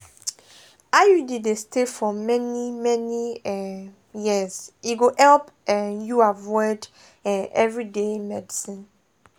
iud dey stay for many-many um years e go help um you avoid um everyday medicines.